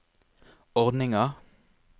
ordninga